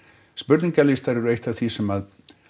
spurningalistar eru eitt af því sem